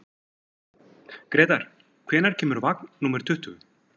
Grétar, hvenær kemur vagn númer tuttugu?